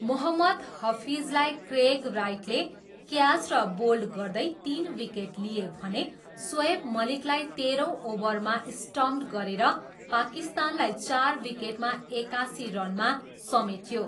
मोहम्मद हफिजलाई क्रेग राइटले क्याच र बोल्ड गर्दै तिन विकेट लिए भने सोएब मलिकलाई तेह्रौँ ओभरमा स्टम्प्ड गरेर पाकिस्तानलाई चार विकेटमा एकासी रनमा समेट्यो।